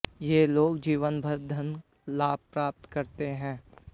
ये लोग जीवनभर धन लाभ प्राप्त करते हैं